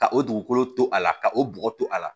Ka o dugukolo to a la ka o bɔgɔ to a la